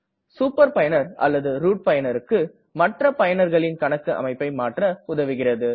super பயனர் அல்லது root பயனர்க்கு மற்ற பயனர்களின் கணக்கு அமைப்பை மாற்ற உதவுகிறது